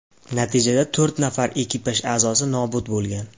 Natijada to‘rt nafar ekipaj a’zosi nobud bo‘lgan.